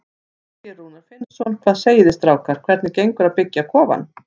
Þorgeir Rúnar Finnsson: Hvað segið þið strákar, hvernig gengur að byggja kofann?